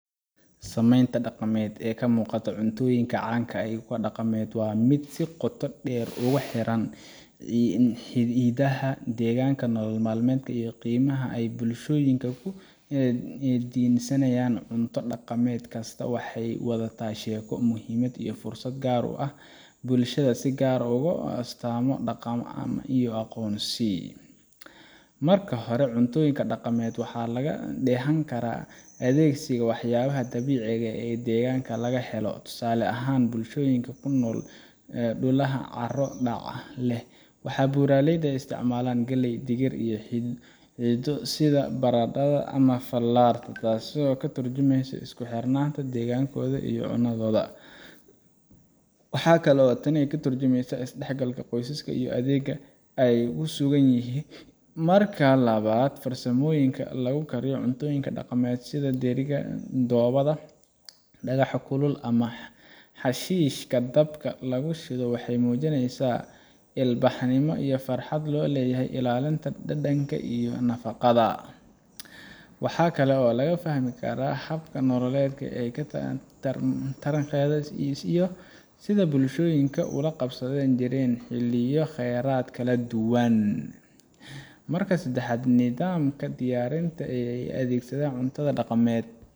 Samaynta dhaqameed ee ka muuqata cuntooyinka caanka ah ama kuwa dhaqameed waa mid si qoto dheer ugu xiran hiddaha, deegaanka, nolol-maalmeedka, iyo qiimaha ay bulshooyinku ku dhisanyihiin. Cunto dhaqameed kastaa waxay wadataa sheeko, muhiimad iyo farsamo gaar ah oo bulshadaas si gaar ah ugu ah astaamo dhaqan iyo aqoonsi. Marka hore, cunto dhaqameedka waxaa laga dheehan karaa adeegsiga waxyaabaha dabiiciga ah ee deegaanka laga helo. Tusaale ahaan, bulshooyinka ku nool dhulaha carro-dhaca leh ama buuraleyda waxay isticmaalaan galley, digir, ama xididdo sida barandhada ama fallarta, taasoo ka tarjumaysa isku xirnaanta deegaankooda iyo cunnadooda. Waxa kale oo tani ka tarjumaysaa is-dhexgalka qoyska iyo deegaanka ay ku sugan yihiin. Marka labaad, farsamooyinka lagu kariyo cuntooyinka dhaqameed sida dheriga dhoobada, dhagaxa kulul, ama xashiishka dabka lagu shido, waxay muujinayaan ilbaxnimo iyo xifnad loo leeyahay ilaalinta dhadhanka iyo nafaqada. Waxaa kale oo laga fahmaa hab nololeedka taariikheed iyo sida ay bulshooyinku ula qabsan jireen xilliyo iyo kheyraad kala duwan. Marka saddexaad, nidaamka diyaarinta iyo u adeegidda cuntada dhaqameed